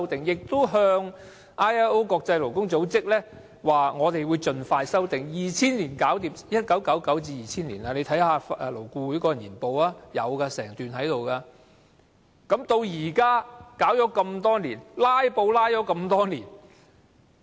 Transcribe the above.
勞工處亦已向國際勞工組織表明會盡快修訂，這已是1999年、2000年的事，大家可以看看勞顧會的年報，當中有整段講述此事項。